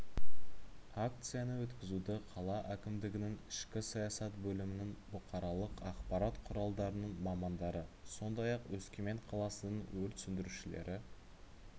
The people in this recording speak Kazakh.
акцияны өткізуді қала әкімдігінің ішкі саясат бөлімінің бұқаралық ақпарат құралдарының мамандары сондай-ақ өскемен қаласының өрт сөндірушілері